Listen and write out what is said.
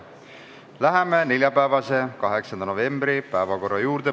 Läheme neljapäeva, 8. novembri päevakorra juurde.